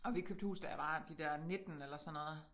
Og vi købte hus da jeg var de der 19 eller sådan noget